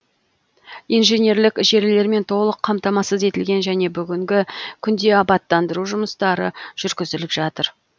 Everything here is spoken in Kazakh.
инженерлік желілермен толық қамтамасыз етілген және бүгінгі күнде абаттандыру жұмыстары жүргізіліп жатыр